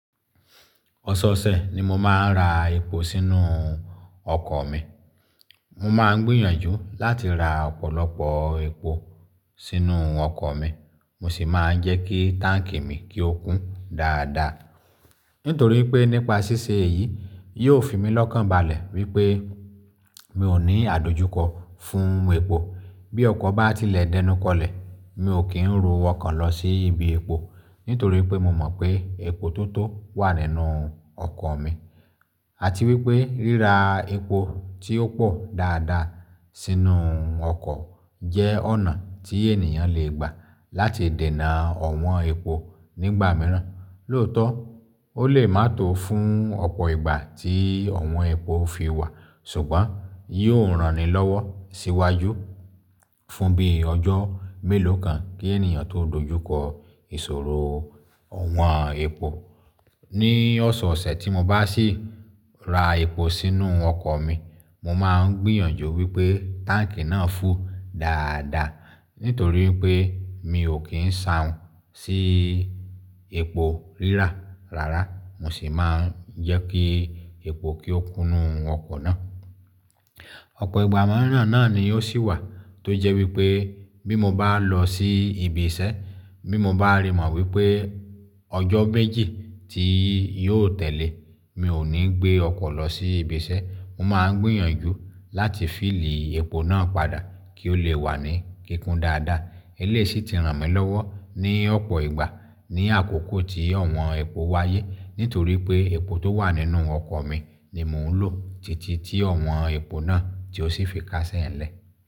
Ọ̀sọ̀ọ̀sẹ̀ ni mo máa ń ra epo sínú ọkọ̀ mi. Mo máa ń gbìyànjú láti ra ọ̀pọ̀lọpọ̀ epo sínú ọkọ̀ mi, mo sì máa ń jẹ́ kí táǹkì mi kí ó kún dáadáa. Nítorí pé nípa ṣíṣe èyí, yóò fi mí lọ́kànbalẹ̀ wípé mi ò ní àdojúkọ fún epo. Bí ọkọ̀ bá ti lẹ̀ dẹnukọlẹ̀, mi ò kí ń ro ọkan lọ sí ibi epo nítorí pé mo mọ̀ pé epo tó tó wà nínú ọkọ̀ mi. Àti wípé ríra epo tí ó pò dáadáa sínú ọkọ̀ jẹ́ ọ̀nà tí ènìyàn le gbà láti dènà ọ̀wọ́n epo nígbà mìíràn. Lóòótọ́, ó lè má to fún ọ̀pọ̀ ìgbà tí ọ̀wọ́n epo fi wà, ṣùgbọ́n yóò ranni lọ́wọ́ síwájú fún bíi ọjọ́ mélòó kan kí ènìyàn tó dojúkọ ìṣòro ọ̀wọ́n epo. Ni ọ̀sọ̀ọ̀sẹ̀ tí mo bá sì ra epo sínú ọkọ̀ mi, mo máa ń gbìyànjú wípé táǹkì náà fú dáadáa. Nítorí pé mi ò kí ń sahun sì epo rírà rárá, mo sì máa ń jẹ́ kí epo kí ó kúnú ọkọ̀ náà. Ọ̀pọ̀ ìgbà mìíràn náà ni ó sì wà tó jẹ́ wípé bí mo bá lọ sí ibi iṣẹ́, bí mo bá rí mọ̀ wípé ọjọ́ méjì tí yóò tẹ́lẹ̀, mi ò ní gbé ọkọ̀ lọ sí ibi iṣẹ́. Mo máa ń gbìyànjú láti fílí epo náà padà kí ó lè wà ní kíkún dáadáa. Eléi sì ti ràn mí lọ́wọ́ ní ọ̀pọ̀ ìgbà ní àkókò tí ọ̀wọ́n epo wáyé, nítorí pé epo tó wà nínú ọkọ̀ mi ni mò ń lò títí tí ọ̀wọ́n epo náà tí ó sì fi káṣẹ̀ ń lẹ.